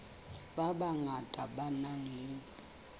ba bangata ba nang le